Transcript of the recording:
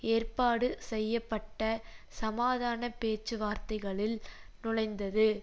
ஏற்பாடு செய்ய பட்ட சமாதான பேச்சுவார்த்தைகளில் நுழைந்தது